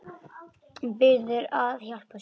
Biður hann að hjálpa sér.